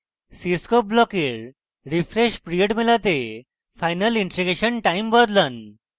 cscope ব্লকের refresh period মেলাতে final integration time বদলান